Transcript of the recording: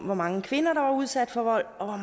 hvor mange kvinder der var udsat for vold og